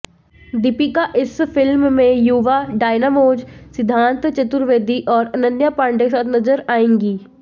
दीपिका इस फिल्म में युवा डायनामोज सिद्धांत चतुर्वेदी और अनन्या पांडे के साथ नजर आएंगी